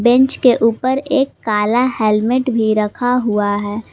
Bench के ऊपर काला हेलमेट भी रखा हुआ है।